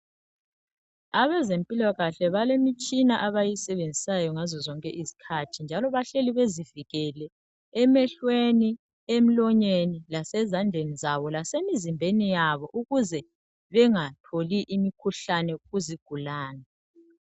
abezempilakahle balemitshina abayisebenzisayo ngazo zonke izikhathi njalo bahleli bezivikele emehlweni emlonyeni lasezandleni zabo lasemizimbeni yabo ukuze bengatholi imikhuhlane kuzigulane